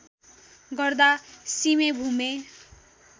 गर्दा सिमे भूमे